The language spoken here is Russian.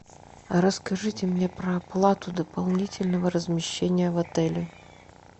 расскажите мне про оплату дополнительного размещения в отеле